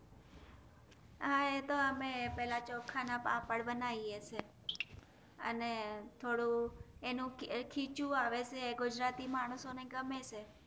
હા એતો અમે પેલા ચોખા ના પાપડ બનાયે છે અને થોડું એનું ખીચું આવે છે ગુજરાતી માનશો ને ગમે છે